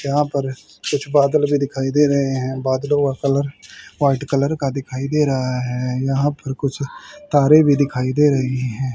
यहां पर कुछ बादल भी दिखाई दे रही है बादलों का कलर व्हाइट कलर का दिखाई दे रहा है यहां पर कुछ तारे भी दिखाई दे रहे है।